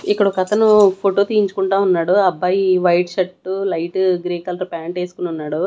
ఇక్కడొకతను photo తీయించుకుంటా ఉన్నాడు ఆ అబ్బాయి white shirt light grey colour pant ఎస్కొనున్నాడు.